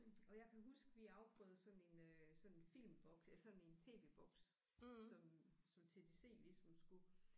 Og jeg kan huske vi afprøvede sådan en øh sådan en filmboks eller sådan en TV-boks som som TDC ligesom skulle